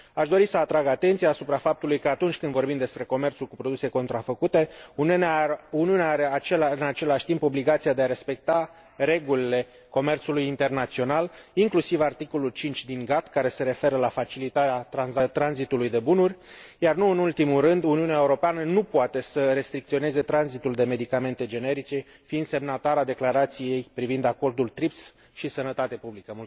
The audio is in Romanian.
Aș dori să atrag atenția asupra faptului că, atunci când vorbim despre comerțul cu produse contrafăcute, Uniunea are, în același timp, obligația de respecta regulile comerțului internațional, inclusiv articolul 5 din GATT, care se referă la facilitarea tranzitului de bunuri, iar, nu în ultimul rând, Uniunea Europeană nu poate să restricționeze tranzitul de medicamente generice, fiind semnatară a Declarației privind acordul TRIPS și sănătatea publică.